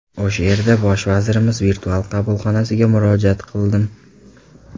O‘sha yerda Bosh vazirimiz virtual qabulxonasiga murojaat qildim.